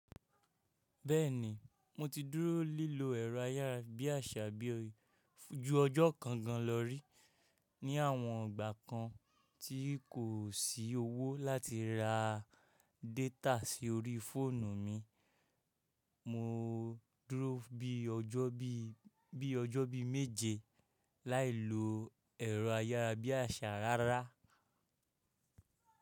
Bẹ́ẹ̀ni, mo ti dúró lílo ẹ̀rọ ayárabíàṣá bí jú ọjọ́ kan gan lọ rí. Ni àwọn ìgbà kan tí kò sí owó láti ra data sí orí fóònù mi, mo dúró bí ọjọ́ bí méje láì lo ẹ̀rọ ayárabíàṣá rárá.